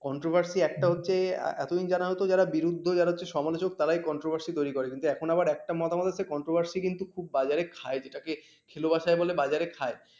controversy সি একটা হচ্ছে এতদিন জানা যেত যারা বিরুদ্ধ যারা সমালোচক তারাই controversy তৈরি করে কিন্তু এখন আবার একটা মতামত হচ্ছে controversy কিন্তু খুব বাজারে খায় যেটাকে খেলো ভাষায় বলে বাজারে খায়।